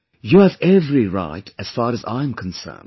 You have every right as far as I am concerned